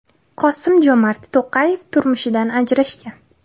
Qosim-Jomart To‘qayev turmushidan ajrashgan.